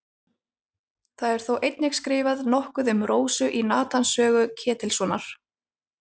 Það er þó einnig skrifað nokkuð um Rósu í Natans sögu Ketilssonar.